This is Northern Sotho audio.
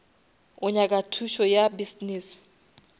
o nyaka thušo ya business